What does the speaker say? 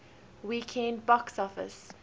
weekend box office